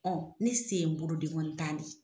Ɔ ne sen ye bolo denkɔni tan de ye.